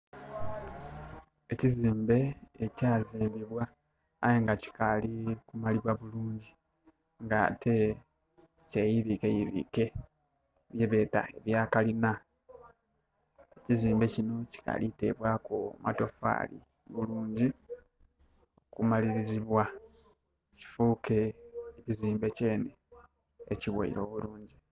Ekizimbe ekyazimbbibwa aye nga kikali kumalibwa bulungi ng' ate kyeyirikeyirike ye beeta yakalina. Kizimbe kino kikali tebwaaku matofaali bulungi kumalirizibwa kifuuke kizimbe kyene ekiweire obulungi